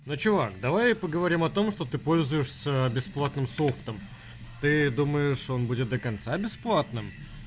ну чувак давай поговорим о том что ты пользуешься бесплатным софтом ты думаешь он будет до конца бесплатным